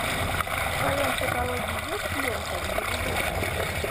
в твоем каталоге есть лента невезучий